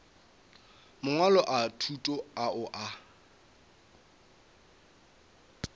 mangwalo a thuto ao a